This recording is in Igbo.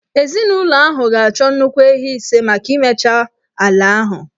Ezinụlọ ahụ ga-achọ nnukwu ehi ise maka imecha ala ahụ